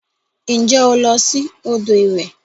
Nje o lo si odo iwe?